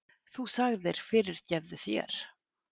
Þú sagðir: Fyrirgefðu þér.